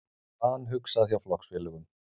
Vanhugsað hjá flokksfélögum